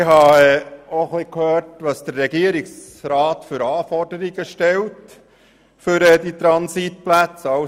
Ich habe auch gehört, welche Anforderungen der Regierungsrat für die Transitplätze stellt.